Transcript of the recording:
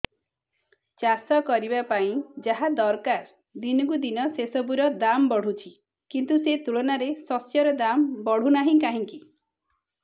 ଚାଷ କରିବା ପାଇଁ ଯାହା ଦରକାର ଦିନକୁ ଦିନ ସେସବୁ ର ଦାମ୍ ବଢୁଛି କିନ୍ତୁ ସେ ତୁଳନାରେ ଶସ୍ୟର ଦାମ୍ ବଢୁନାହିଁ କାହିଁକି